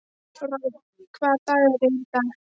Rolf, hvaða dagur er í dag?